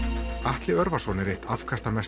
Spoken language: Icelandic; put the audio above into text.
Atli Örvarsson er eitt afkastamesta